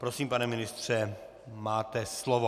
Prosím, pane ministře, máte slovo.